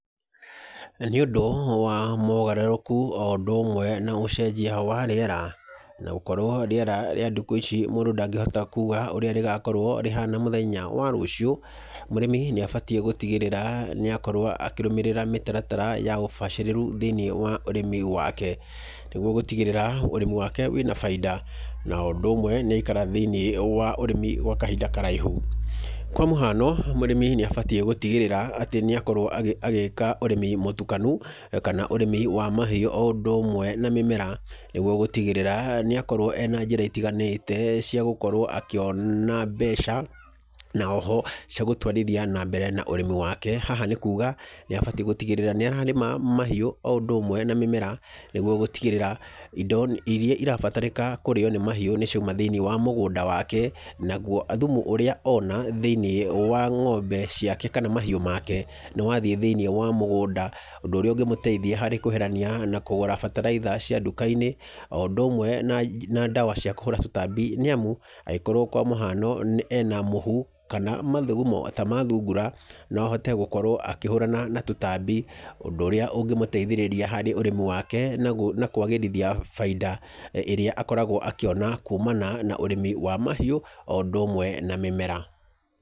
Nĩũndũ wa mogarũrũku o ũndũ ũmwe na ũgarũrũku wa rĩera na gũkorwo rĩera rĩa ndukũ ici mũndũ ndangĩhota kuga ũrĩa rĩgakorwo rĩhana mũthenya wa rũciũ. Mũrĩmi nĩabatie gũtigĩrĩra nĩakorwo akĩrũmĩrĩra mĩtaratara ya ũbacĩrĩru thĩinĩ wa ũrĩmi wake nĩguo gũtigĩrĩra ũrĩmi wake wĩna baida o ũndũ ũmwe nĩaikara thĩinĩ wa ũrĩmi gwa kahinda karaihu. Kwa mũhano, mũrĩmi nĩabataire gũtigĩrĩra atĩ nĩakorwo agĩka ũrĩmi mũtukanu kana ũrĩmi wa mahiũ o ũndũ ũmwe na mĩmera nĩguo gũtigĩrĩra nĩakorwo ena njĩra itiganĩte cia gũkorwo akĩona mbeca. Na oho ciagũtwarithia na mbere ũrĩmi wake na haha nĩkuga nĩabatie gũtigĩrĩra nĩararĩma mahiũ o ũndũ ũmwe na mĩmera nĩguo gũtigĩrĩra indo iria irabatarĩka kũrĩo nĩ mahiũ nĩcio ciauma thĩinĩ wa mũgũnda wake, naguo thumu ũrĩa ona thĩinĩ wa ng'ombe ciake kana thĩinĩ wa mahiũ make nĩwathiĩ thĩinĩ wa mũgũnda ũndũ ũrĩa ũngĩmuteithia harĩ kweherania na kũgũra bataraitha cia nduka-inĩ, o ũndũ ũmwe na ndawa cia kũhũra tũtambi nĩamu angĩkorwo kwa mũhano, ena mũhu kana mathugumo ta ma thungura no ahote gũkorwo akĩhũrana na tũtambi ũndũ ũrĩa ũngĩmũteithĩrĩria harĩ ũrĩmi wake na kwagĩrithia baida ĩrĩa akoragwo akĩona kumana na ũrĩmi wa mahiũ o ũndũ ũmwe na wa mĩmera.